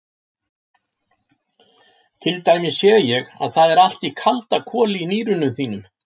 Til dæmis sé ég að það er allt í kaldakoli í nýrunum þínum.